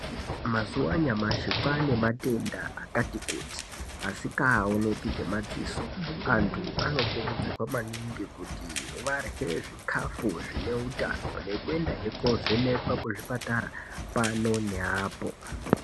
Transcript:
Mazuva anyamashi kwane matenda akati kuti asikaoneki ngemadziso .Antu anokurudzirwa maningi kuti varye zvikafu zvine utano nekuendahe kuvhenekwa kuzvipatara pano neapo.